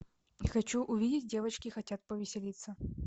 хочу увидеть девочки хотят повеселиться